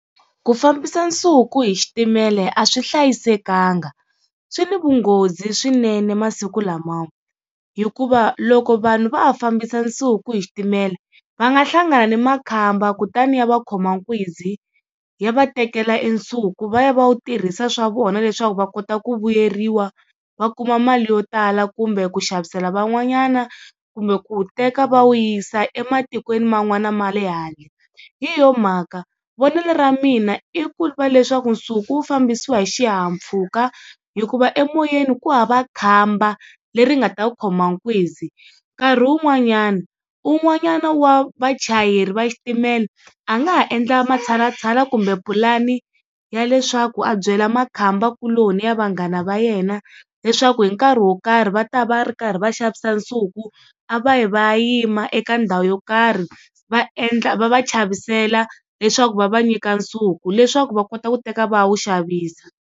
Ku fambisa nsuku hi xitimela a swi hlayisekanga swi na vunghozi swinene masiku lamawa, hikuva loko vanhu va ha fambisa nsuku hi xitimela va nga hlangana na makhamba kutani ya va khoma nkunzi ya va tekela e nsuku va ya va wu tirhisa swa vona leswaku va kota ku vuyeriwa va kuma mali yo tala, kumbe ku xavisela van'wanyana kumbe ku teka va wu yisa ematikweni man'wana ma le handle. Hi yo mhaka vonelo ra mina i ku va leswaku nsuku wu fambisiwa hi xihahampfhuka hikuva emoyeni ku hava khamba leri nga ta ku khoma nkuzi. Nkarhi wun'wanyana un'wanyana wa vachayeri va xitimela a nga ha endla matshalatshala kumbe pulani ya leswaku a byela makhamba kuloni ya vanghana va yena leswaku hi nkarhi wo karhi va ta va ri karhi va xavisa nsuku a va yi va ya yima eka ndhawu yo karhi va endla, va va chavisela leswaku va va nyika nsuku leswaku va kota ku teka va ya wu xavisa.